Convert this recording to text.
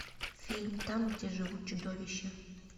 фильм там где живут чудовища